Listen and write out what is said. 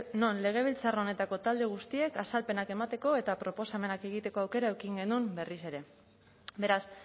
non legebiltzar honetako talde guztiek azalpenak emateko eta proposamenak egiteko aukera eduki genuen berriz ere beraz